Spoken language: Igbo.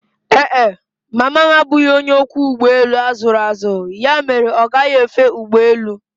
Ee e, mama m abụghị onye ọkwọ ụgbọelu a zụrụ azụ ya mere ọ gaghi efe ụgbọelu